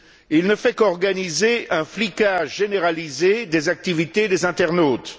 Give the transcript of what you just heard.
Il ne fait qu'organiser un flicage généralisé des activités des internautes.